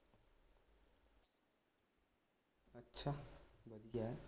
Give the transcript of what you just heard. ਵਧੀਆ